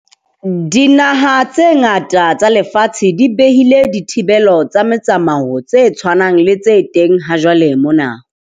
Dinaha tse ngata tsa lefatshe di behile dithibelo tsa motsamao tse tshwanang le tse teng hajwale mona.